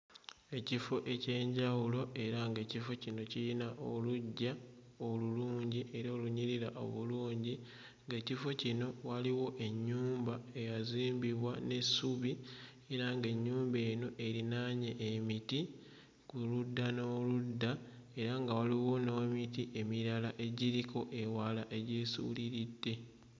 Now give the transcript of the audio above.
Ekifo eky'enjawulo era ng'ekifo kino kirina oluggya olulungi era olunyirira obulungi ng'ekifo kino waliwo ennyumba eyazimbibwa n'essubi era ng'ennyumba eno erinaanye emiti ku ludda n'oludda era nga waliwo n'emiti emirala egiriko ewala egyesuuliridde.